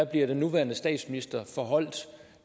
blev den nuværende statsminister forholdt